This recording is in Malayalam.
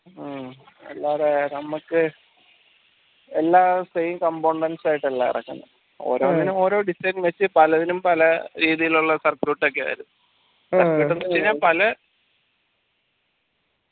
ഹും അല്ലാതെ നമ്മക്ക് എല്ലാ same components ആയിട്ടല്ല ഇറക്കുന്ന ഓരോന്നിനും ഓരോ design വെച്ച പലതിനും പല രീതിയിലുള്ള circuit ക്കെയാണ് വരുന്ന circuit പിന്നെ പ